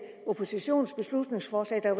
oppositionens beslutningsforslag at der